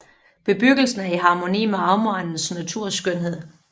Bebyggelsen er i harmoni med omegnens naturskønhed